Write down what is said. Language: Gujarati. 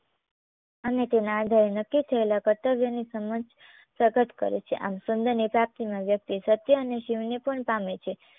અને તેના આધારે નક્કી થયેલા કર્તવ્યની સમજ પ્રગટ કરે છે. આમ સુંદરની પ્રાપ્તીમાં વ્યક્તિ સત્ય અને શિવને પણ પામે છે.